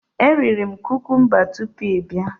Eriri m kukumba tupu ị bịa.